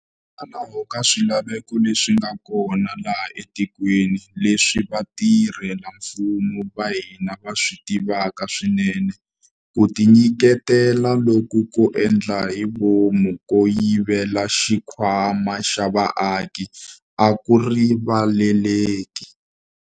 Hikokwalaho ka swilaveko leswi nga kona laha etikweni, leswi vatirhela mfumo va hina va swi tivaka swinene, ku tinyiketela loku ko endla hi vomu ko yivela xikhwama xa vaaki a ku rivaleleki.